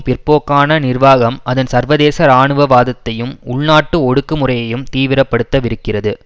பிற்போக்கான நிர்வாகம் அதன் சர்வதேச இராணுவவாதத்தையும் உள்நாட்டு ஒடுக்குமுறையையும் தீவிரப்படுத்தவிருக்கிறது